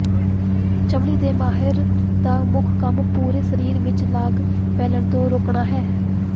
ਚਮੜੀ ਦੇ ਮਾਹਿਰ ਦਾ ਮੁੱਖ ਕੰਮ ਪੂਰੇ ਸਰੀਰ ਵਿਚ ਲਾਗ ਫੈਲਣ ਤੋਂ ਰੋਕਣਾ ਹੈ